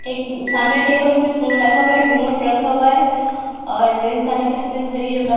एक सामने टेबल इसने फोन रखा हुआ है रिमोट रखा हुआ है और इंसानों के हाथ में घरी --